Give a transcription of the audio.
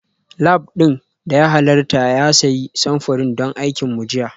Lab ɗin da ya halarta ya sayi samfurin don aikin mu jiya